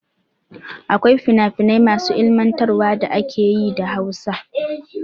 Akwai fina finai masu ilimantarwa na ake yi da Hausa.